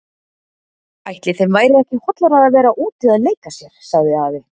Ætli þeim væri ekki hollara að vera úti að leika sér sagði afi.